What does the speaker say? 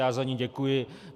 Já za ni děkuji.